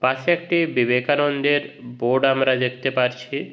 পাশে একটি বিবেকানন্দের বোর্ড আমরা দেখতে পারছি।